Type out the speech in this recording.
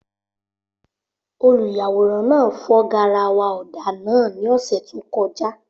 Olùyàwòrán náà fọ́ garawa ọ̀dà náà ní ọ̀sẹ̀ tó kọjá.